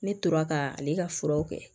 Ne tora ka ale ka furaw kɛ